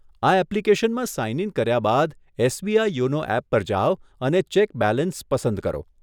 આ એપ્લીકેશનમાં sign in કર્યા બાદ, એસબીઆઈ યોનો એપ પર જાવ અને ચેક બેલેન્સ પસંદ કરો.